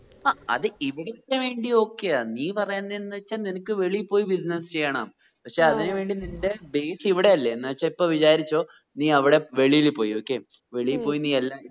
അ അത് ഇവിടുത്തെ വേണ്ടി okay ആ നീ പറയുന്നേ എന്ന് വെച്ചാൽ നിനക്ക് വെളിയിൽ പോയി business ചെയ്യണം ആ പക്ഷെ അതിന് വേണ്ടി നിന്റെ base ഇവിടല്ലേ എന്ന് വെച്ച ഇപ്പോ വിചാരിച്ചോ നീ അവിടെ വെളിയിൽ പോയി ഉം okay ഉം വെളിയിൽ പോയി നീ എല്ലാം